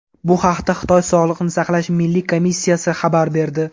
Bu haqda Xitoy Sog‘liqni saqlash milliy komissiyasi xabar berdi .